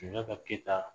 Sunjata keyita